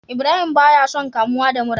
Ibrahim baya son kamuwa da mura